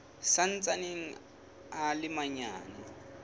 sa ntsaneng a le manyane